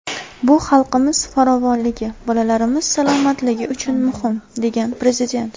Bu xalqimiz farovonligi, bolalarimiz salomatligi uchun muhim”, degan Prezident.